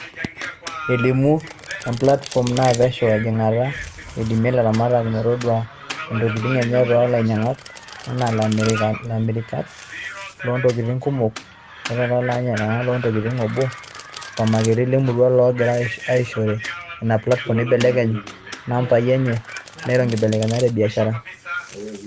Eimu emplatifom naa pesho ejingata, eidimia laramatak metoduai intokitin enye too lainyiankak, enaa lamirak loontokitin kumok, ilatakweniak, lanyiankak loontokitin eboo o supamaketi lemurua loogira aasishore ina platifom neibelekeny naampai enye neiro ngibelekenyat ebiashara.